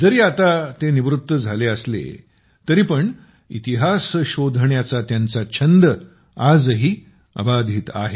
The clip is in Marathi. जरी ते आता निवृत्त झाले असले तरीपण इतिहास शोधण्याचा त्यांचा छंद आजही अबाधित आहे